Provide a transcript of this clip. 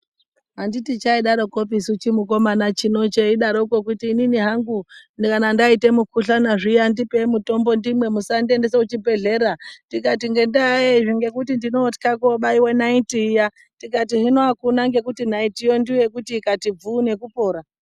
Anditi chaidarokopisu chimukomana chino cheidaroko kuti inini hangu kana ndaite mukuhlana ndipei mutombo ndimwe musandiendesa kuchibhedlera tikati ngendaa yei zve ngekuti ndinotywa kobaiwa naiti iya tikati hino akuna ngekuti naiti yoo ndiyo yekuti tikati bvuu nekupora.